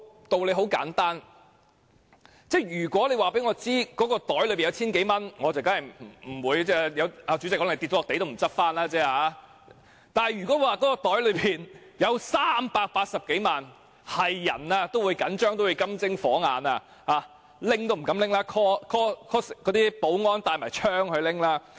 道理很簡單，如果告訴我口袋中有千多元，主席可能跌在地上也不會拾回，但如果說口袋中有380多萬元，誰也會緊張，誰也會金睛火眼瞪着，取也不敢取，會召喚保安攜槍去取。